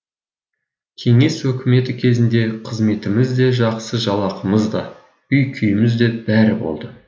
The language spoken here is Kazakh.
кеңес өкіметі кезінде қызметіміз де жақсы жалақымыз да үй күйіміз де бәрі болды